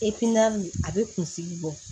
a bɛ kunsigi bɔ